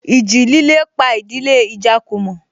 Ìjì líle pa ìdílé Ijakumo